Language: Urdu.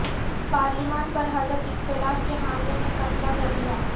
پارلیمان پر حزب اختلاف کے حامیوں نے قبضہ کر لیا ہے